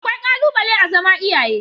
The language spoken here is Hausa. Akwai ƙalubale a zama iyaye